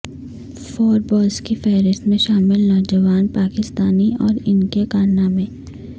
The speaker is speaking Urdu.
فوربز کی فہرست میں شامل نوجوان پاکستانی اور ان کے کارنامے